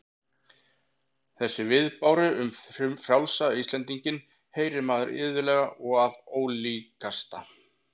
Þessa viðbáru um frjálsa Íslendinginn heyrir maður iðulega og af ólíkasta